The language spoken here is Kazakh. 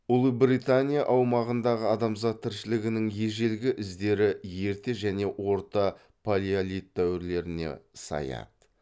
ұлыбритания аумағындағы адамзат тіршілігінің ежелгі іздері ерте және орта палеолит дәуірлеріне саяды